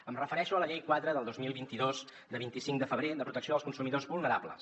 em refereixo a la llei quatre del dos mil vint dos de vint cinc de febrer de protecció dels consumidors vulnerables